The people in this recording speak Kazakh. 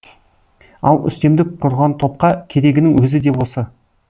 ал үстемдік құрған топқа керегінің өзі де осы